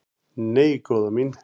"""Nei, góða mín."""